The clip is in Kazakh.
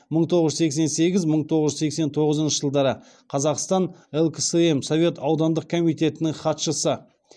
мың тоғыз жүз сексен сегіз мың тоғыз жүз сексен тоғызыншы жылдары қазақстан лксм совет аудандық комитетінің хатшысы